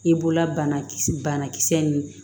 I bolola banakisɛ banakisɛ nin